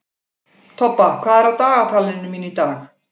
Tobba, hvað er á dagatalinu mínu í dag?